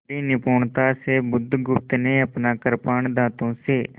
बड़ी निपुणता से बुधगुप्त ने अपना कृपाण दाँतों से